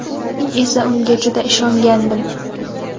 Men esa unga juda ishongandim.